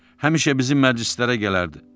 Həmişə bizim məclislərə gələrdi.